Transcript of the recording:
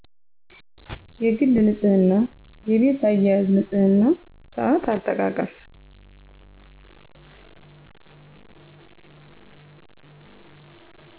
የግል ንፅህና የቤት አያያዝ ንፅህና ሳአት አጠቃቀም